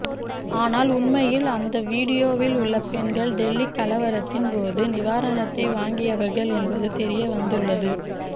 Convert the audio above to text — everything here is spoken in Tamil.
ஆனால் உண்மையில் அந்த வீடியோவில் உள்ள பெண்கள் டெல்லி கலவரத்தின் போது நிவாரணத்தை வாங்கியவர்கள் என்பது தெரியவந்துள்ளது